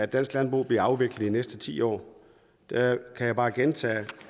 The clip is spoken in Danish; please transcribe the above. dansk landbrug bliver afviklet næste ti år kan jeg bare gentage